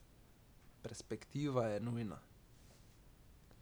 Perspektiva je nujna.